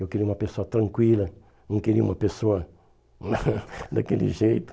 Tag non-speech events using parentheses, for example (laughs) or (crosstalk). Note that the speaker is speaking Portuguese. Eu queria uma pessoa tranquila, não queria uma pessoa (laughs) daquele jeito.